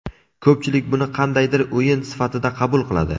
Ko‘pchilik buni qandaydir o‘yin sifatida qabul qiladi.